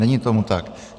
Není tomu tak.